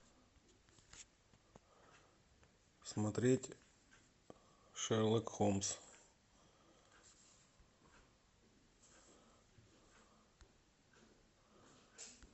смотреть шерлок холмс